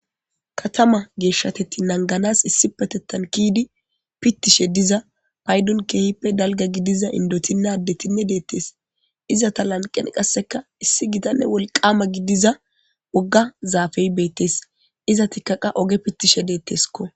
Katama geeshshateti nanganas issi patettan kiidi pittishe diza paydon keehippe dalga gidiza indotinnadetinne deettes iza ta lanqen qasseka issi gitanne wolqama gidiza wogga zaafey beettes iza tikkaqa oge pittishe deetteskko.